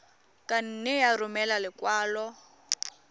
ka nne ya romela lekwalo